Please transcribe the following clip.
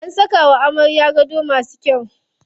An saka wa amaryar gado masu kyau.